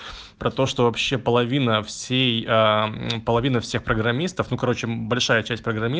про то что вообще половина всей половина всех программистов ну короче большая часть